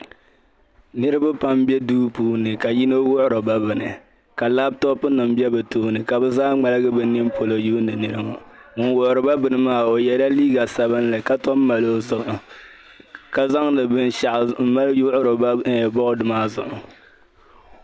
Niriba pam be duu puuni ka yino wuhiri ba bini ka laptop nim be bi tooni ka bi zaa ŋmaligi bi ninpolo yuuni niri ŋɔ. Ŋun wuhira ba beni maa, o yɛ la liiga sabinli ka tom mali o zuɣu. Ka zaŋdi binshɛɣu m-mali yuɣiri ba board maa zuɣu.